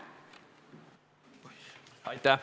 Aitäh!